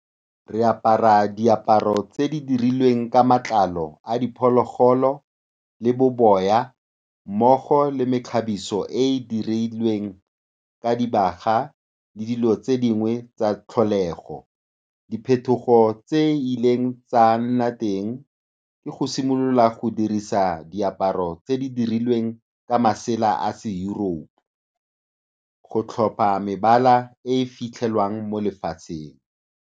Re apara diaparo tse di dirilweng ka matlalo a diphologolo le boboya, mmogo le mekgabiso e e dirilweng ka dibaga le dilo tse dingwe tsa tlholego. Diphetogo tse di ileng tsa nna teng ke go simolola go dirisa diaparo tse di dirilweng ka masela a se-Europe, go tlhopha mebala e e fitlhelwang mo lefatsheng.